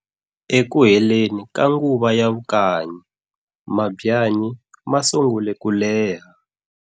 E kuheleni ka nguva ya vukanyi, mabyanyi masungule ku leha.